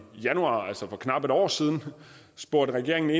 januar altså for knap et år siden spurgt regeringen